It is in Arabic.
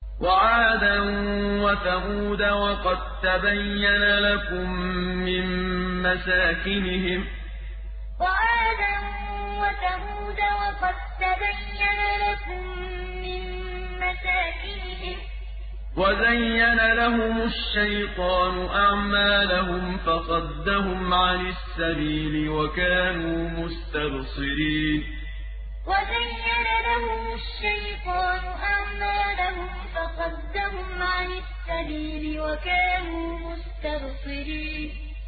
وَعَادًا وَثَمُودَ وَقَد تَّبَيَّنَ لَكُم مِّن مَّسَاكِنِهِمْ ۖ وَزَيَّنَ لَهُمُ الشَّيْطَانُ أَعْمَالَهُمْ فَصَدَّهُمْ عَنِ السَّبِيلِ وَكَانُوا مُسْتَبْصِرِينَ وَعَادًا وَثَمُودَ وَقَد تَّبَيَّنَ لَكُم مِّن مَّسَاكِنِهِمْ ۖ وَزَيَّنَ لَهُمُ الشَّيْطَانُ أَعْمَالَهُمْ فَصَدَّهُمْ عَنِ السَّبِيلِ وَكَانُوا مُسْتَبْصِرِينَ